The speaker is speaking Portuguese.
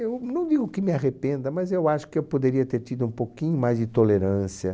Eu não digo que me arrependa, mas eu acho que eu poderia ter tido um pouquinho mais de tolerância.